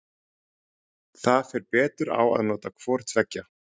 Þar fer betur á að nota hvor tveggja.